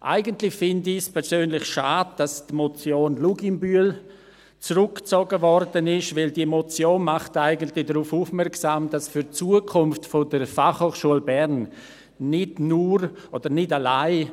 Eigentlich finde ich persönlich schade, dass die Motion Luginbühl zurückgezogen wurde, denn diese Motion macht eigentlich darauf aufmerksam, dass für die Zukunft der BFH nicht nur, oder nicht alleine